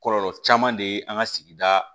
Kɔlɔlɔ caman de ye an ka sigida